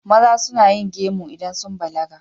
Maza suna yin gemu idan sun balaga.